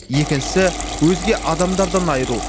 шісі өзге адамдардан айыру